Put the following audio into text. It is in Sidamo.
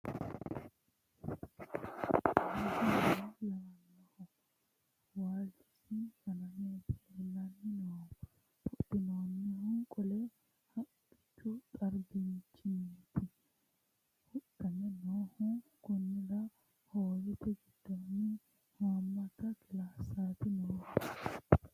Kunni rosu minne lawannoho waalichissi fa'nametti leellanni noohu huxxissinno qole haqqichchu xarrannitti huxxamme noohu Koniira hoowette gidoonni haammatta kilaasetti noohu